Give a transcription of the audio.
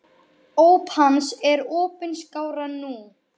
Óp hans er opin skárra nú.